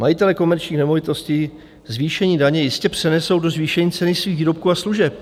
Majitelé komerčních nemovitostí zvýšení daně jistě přenesou do zvýšení ceny svých výrobků a služeb.